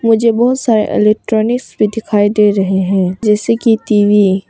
मुझे बहुत सारे इलेक्ट्रॉनिक्स भी दिखाई दे रहे हैं जैसे की टी वी ।